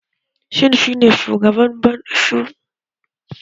Shin shi ne shugaban ayyuka na bankin Stanbic IBTC?